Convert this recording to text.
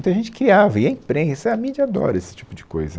Então a gente criava, e a imprensa, a mídia adora esse tipo de coisa.